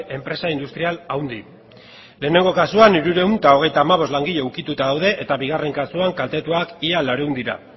enpresa industrial handi lehenengo kasuan hirurehun eta hogeita hamabost langile ukituta daude eta bigarren kasuan kaltetuak ia laurehun dira